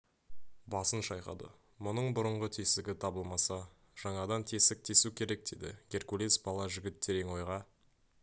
асын шайқады мұның бұрынғы тесігі табылмаса жаңадан тесік тесу керек деді геркулес бала жігіт терең ойға